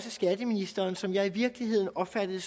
skatteministeren som jeg i virkeligheden opfattede